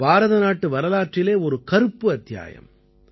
இது பாரத நாட்டு வரலாற்றிலே ஒரு கருப்பு அத்தியாயம்